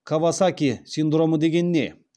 кавасаки синдромы деген не